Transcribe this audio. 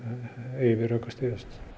eigi við rök að styðjast